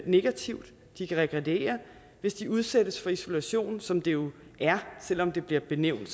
negativt de kan regrediere hvis de udsættes for isolation som det jo er selv om det bliver benævnt